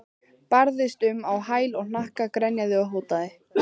Barðist um á hæl og hnakka, grenjaði og hótaði.